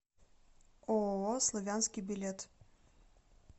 ооо славянский билет